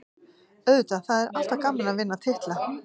Auðvitað, það er alltaf gaman að vinna titla.